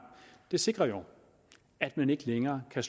det sikrer jo at man ikke længere kan